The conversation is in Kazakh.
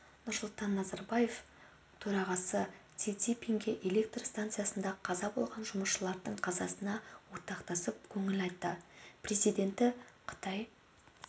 нұрсұлтан назарбаев төрағасы си цзиньпинге электр станциясында қаза болған жұмысшылардың қазасына ортақтасып көңіл айтты президенті қытай